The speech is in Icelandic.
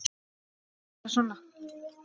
Nei, ég segi bara svona.